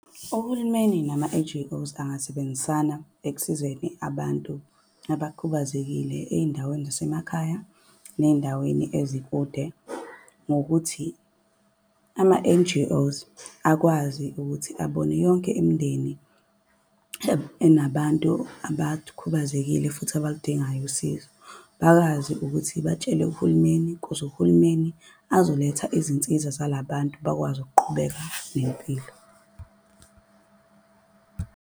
Uhulumeni nama-N_G_Os angasebenzisana ekusizeni abantu abakhubazekile ey'ndaweni zasemakhaya, ney'ndaweni ezikude ngokuthi ama-N_G_Os akwazi ukuthi abone yonke imindeni enabantu abakhubazekile, futhi abaludingayo usizo. Bakwazi ukuthi batshele uhulumeni kuze uhulumeni azoletha izinsiza zalabantu, bakwazi ukuqhubeka nempilo.